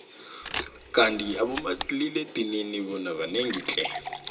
kandi abanomalila edinini bona banengi tle